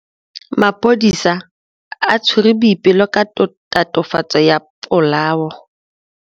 Maphodisa a tshwere Boipelo ka tatofatsô ya polaô.